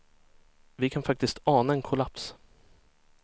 Vi kan faktiskt ana en kollaps.